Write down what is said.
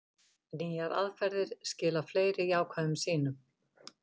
Nýjar aðferðir skila fleiri jákvæðum sýnum